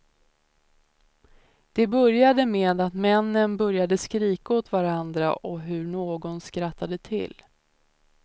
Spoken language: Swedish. Det började med att männen började skrika åt varandra och hur någon skrattade till.